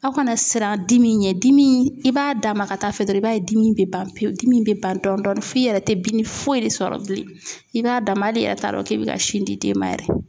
Aw kana siran dimi in ɲɛ dimi i b'a d'a ma ka taa fɛ dɔrɔn i b'a ye dimi bɛ ban pewu dimi in bɛ ban dɔɔnin dɔɔnin f'i yɛrɛ tɛ bimi foyi de sɔrɔ bilen i b'a dama hali i yɛrɛ t'a dɔn k'i bɛ ka sin di den ma yɛrɛ.